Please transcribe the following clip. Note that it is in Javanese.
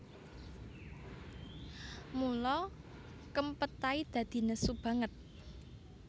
Mula Kempetai dadi nesu banget